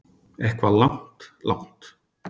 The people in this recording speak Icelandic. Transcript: Eitthvað langt, langt.